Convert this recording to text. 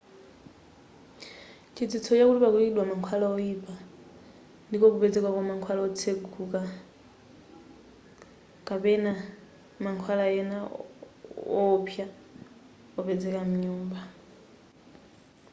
chidziwitso chakuti pakuyikidwa mankhwala woipa ndiko kupezeka kwa kontena yotseguka yamankhwala kapena mankhwala ena wowopsa opezeka mnyumba